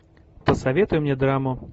посоветуй мне драму